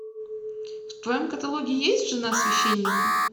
в твоем каталоге есть жена священника